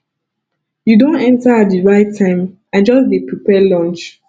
you don enter at the right time i just dey prepare lunch